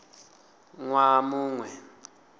ṅ waha mu ṅ we